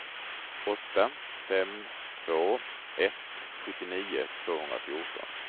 åtta fem två ett sjuttionio tvåhundrafjorton